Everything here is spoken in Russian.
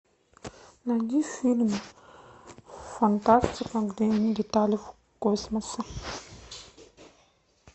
найди фильм фантастика где они летали в космосе